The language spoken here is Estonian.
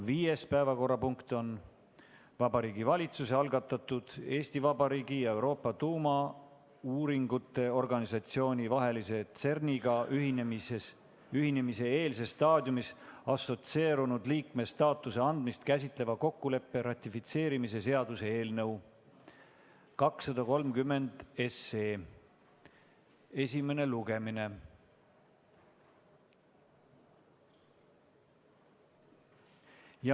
Viies päevakorrapunkt on Vabariigi Valitsuse algatatud Eesti Vabariigi ja Euroopa Tuumauuringute Organisatsiooni vahelise CERN-iga ühinemise eelses staadiumis assotsieerunud liikme staatuse andmist käsitleva kokkuleppe ratifitseerimise seaduse eelnõu 230 esimene lugemine.